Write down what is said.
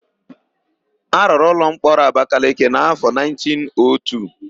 A rụrụ ụlọmkpọrọ Abakaleke n'áfọ 1902.